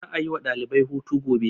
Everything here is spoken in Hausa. za a yi wa ɗalibai hutu gobe